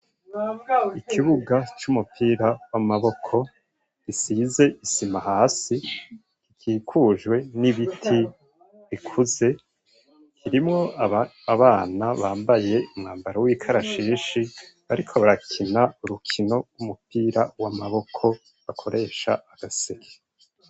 Ikibuga c'umupira w'amaboko gisize isima hasi, gikikujwe n'ibiti bikuze, kirimwo abana bambaye umwambaro w'ikarashishi bariko barakina urukino rw'umupira w'amaboko bakoresha agaseke.